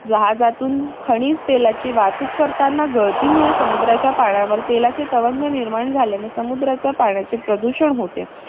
जहाजातून खनिज तेलाची वाहतूक करतांना गळतीमुळे समुद्राच्या पाण्यावर तेलाचे तवंग निर्माण झाल्याने समुद्राच्या पाण्याचे प्रदूषण होते.